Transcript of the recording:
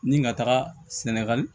Ni ka taga sɛnɛgali